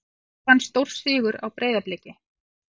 KR vann stórsigur á Breiðabliki